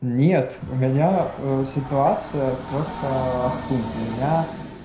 нет у меня ситуация просто ахтунг у меня